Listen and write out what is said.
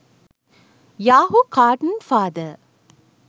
yahoo cartoon father